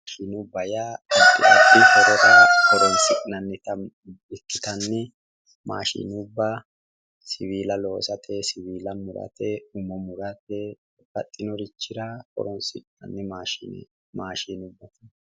maashinubba yaa addi addi horora horonsi'nannita ikkitanni maashinubba siwiila loosate siwiila murate horonsi'nanni maashinubbaati